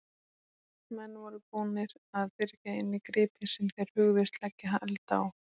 Menn voru búnir að byrgja inni gripi sem þeir hugðust leggja hald á.